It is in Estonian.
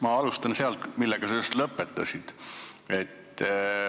Ma alustan sealt, kus sa just lõpetasid.